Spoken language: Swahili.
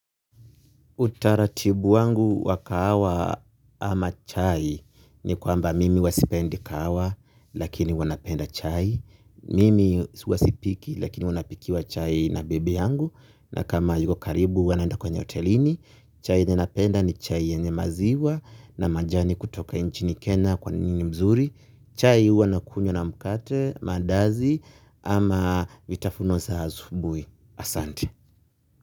Uta ratibu wangu wa kahawa ama chai ni kwamba mimi huwa sipendi kahawa lakini huwa napenda chai. Mimi huwa sipiki lakini huwa napikiwa chai na bibi yangu na kama hayuko karibu huwa naenda kwenye hotelini. Chai ninapenda ni chai yenye maziwa na majani kutoka nchini kenya kwani ni mzuri. Chai uwa nakunywa na mkate, mandazi ama vitafuno sa asubui asante.